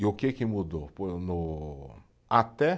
E o que que mudou? até